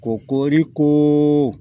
Kori ko